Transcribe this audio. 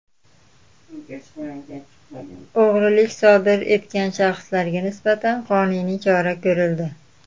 O‘g‘rilik sodir etgan shaxslarga nisbatan qonuniy chora ko‘rildi.